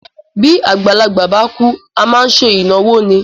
Bí àgbàlagbà bá kúú, A máá n se ìnáwó ni.